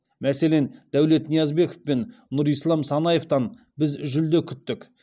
мәселен дәулет ниязбеков пен нұрислам санаевтан біз жүлде күттік